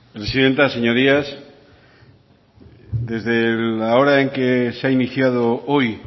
presidenta señorías desde la hora en la que se ha iniciado hoy